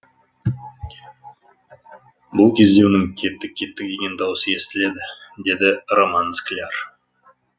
бұл кезде оның кеттік кеттік деген дауысы естіледі деді роман скляр